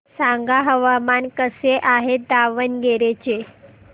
सांगा हवामान कसे आहे दावणगेरे चे